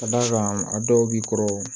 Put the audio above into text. Ka d'a kan a dɔw b'i kɔrɔ